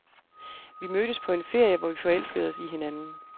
Vi mødtes på en ferie, hvor vi forelskede os i hinanden.